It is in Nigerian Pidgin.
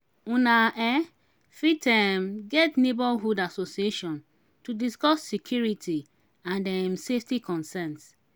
una um fit um get neighbourhood assosiation to discuss security and um safety concerns